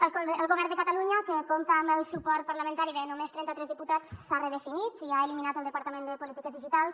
el govern de catalunya que compta amb el suport parlamentari de només trenta tres diputats s’ha redefinit i ha eliminat el departament de polítiques digitals